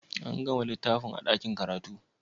An ga littafin a ɗakin karatu?